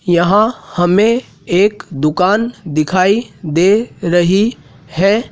यहां हमें एक दुकान दिखाई दे रही है।